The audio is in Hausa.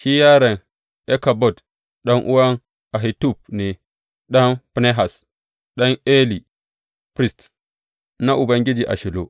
Shi yaron Ikabod ɗan’uwan Ahitub ne, ɗan Finehas, ɗan Eli, firist na Ubangiji a Shilo.